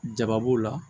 Jaba b'o la